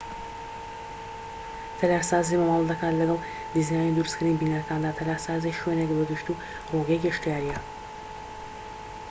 تەلارسازی مامەلە دەکات لەگڵ دیزاین و دروستکردنی بیناکاندا تەلارسازیی شوێنێك بە گشتیی ڕووگەی گەشتیاریە